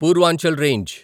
Purvanchal range